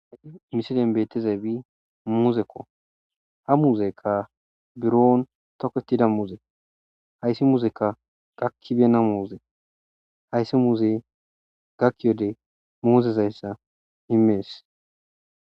Ha misilen beetezay be muzekko ha muzekka buroon toketida muze hayssi muzekka gakkibena muuze hayssi muze gakkiyode muuzezayssa imees.